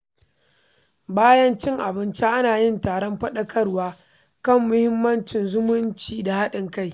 Bayan cin abinci, ana yin taron faɗakarwa kan muhimmancin zumunci da haɗin kai.